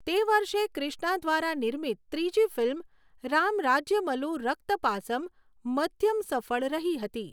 તે વર્ષે ક્રિષ્ના દ્વારા નિર્મિત ત્રીજી ફિલ્મ 'રામ રાજ્યમલૂ રક્ત પાસમ' મધ્યમ સફળ રહી હતી